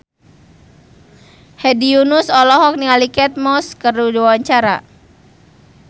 Hedi Yunus olohok ningali Kate Moss keur diwawancara